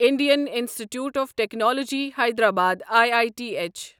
Indian Institute of Technology Hyderabad I I T H